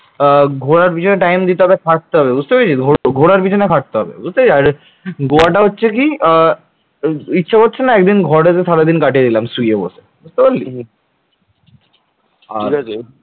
ঘোরার পেছনে time দিতে হবে খাটতে হবে বুঝতে পেরেছিস তো ঘোরার পেছনে খাটতে হবে বুঝতে পেরেছিস। আর গোয়া টা হচ্ছে কি ইচ্ছে করছে না একদিন ঘরেতে সারাদিন কাটিয়ে নিলাম শুয়ে বসে বুঝতে পারলি আর